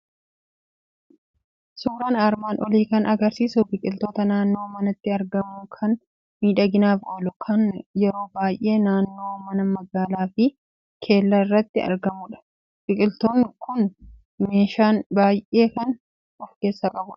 Suuraan armaan olii kan argisiisu biqiltuu naannoo manaatti argamu, kan miidhaginaaf oolu, kan yeroo baay'ee naannoo mana magaalaa fi kellaa irratti argamudha. Biqiltuun kun bishaan baay'ee kan of keessaa qabudha.